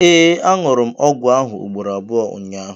ee, añụrụ m ọgwụ ahụ ugboro abụọ ụnyahụ